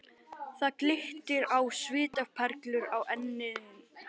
Það glittir á svitaperlur á enni hans.